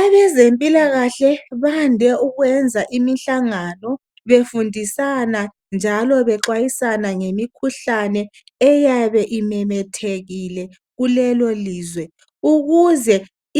Abezempilakahle bade ukwenza imihlangano befundisana njalo bexwayisana ngemikhuhlane eyabe imemethekile kulelo lizwe ukuze